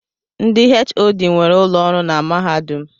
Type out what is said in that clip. Ndị HOD nwere ụlọ ọrụ na mahadum.